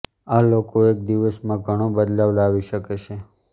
આ લોકો એક દિવસમાં ઘણો બદલાવ લાવી શકે છે